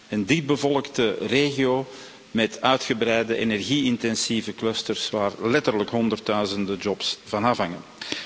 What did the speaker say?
en dichtbevolkte regio met uitgebreide energie intensieve clusters waar letterlijk honderdduizenden jobs van afhangen.